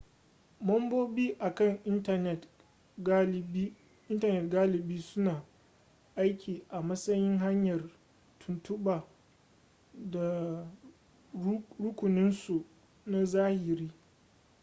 mambobin na kan intanet galibi suna aiki a matsayin hanyar tuntuɓa ta rukuninsu na zahiri